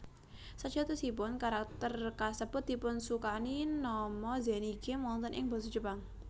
Sajatosipun karakter kasebut dipunsukani nama Zenigame wonten ing basa Jepang